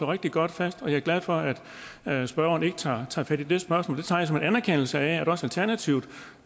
rigtig godt fast og jeg er glad for at at spørgeren ikke tager tager fat i det spørgsmål det tager jeg som en anerkendelse af at også alternativet